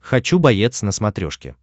хочу боец на смотрешке